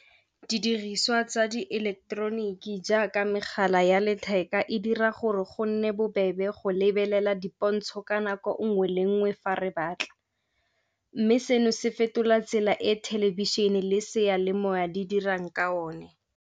Didiriswa tsa di eleketeroniki jaaka megala ya letheka e dira gore go nne bobebe go lebelela dipontsho ka nako nngwe le nngwe fa re batla. Mme seno se fetola tsela e thelebišene le seyalemoya di dirang ka one.